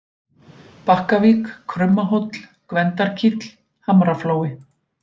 Bakkavík, Krummahóll, Gvendarkíll, Hamraflói